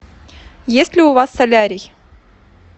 есть ли у вас солярий